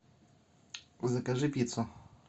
закажи пиццу